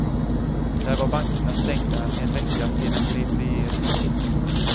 Där var bankerna stängda en vecka sedan grep regeringen in.